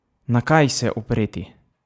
Na kaj se opreti?